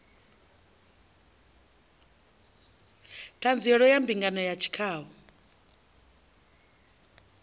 ṱhanziela ya mbingano ya tshikhau